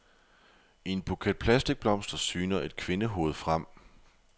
I en buket plastikblomster syner et kvindehoved frem.